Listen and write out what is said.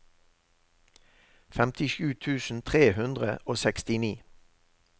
femtisju tusen tre hundre og sekstini